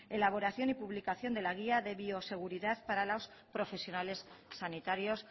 elaboración y publicación de la guía de bioseguridad para los profesionales sanitarios